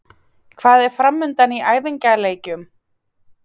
Hvað er framundan í æfingaleikjum?